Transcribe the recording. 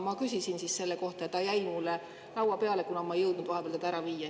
Ma küsisin selle kohta ja jäi minu laua peale, kuna ma ei jõudnud vahepeal seda ära viia.